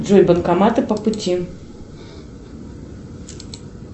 джой банкоматы по пути